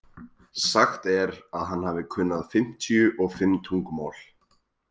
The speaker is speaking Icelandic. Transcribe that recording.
Sagt er að hann hafi kunnað fimmtíu og fimm tungumál.